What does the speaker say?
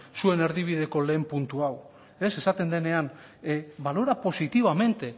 zuen erdibideko lehen puntu hau ez esaten denean valora positivamente